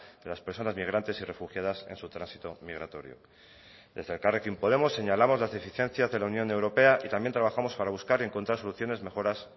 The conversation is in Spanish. de las personas migrantes y refugiadas en su tránsito migratorio desde elkarrekin podemos señalamos las deficiencias de la unión europea y también trabajamos para buscar y encontrar soluciones mejoras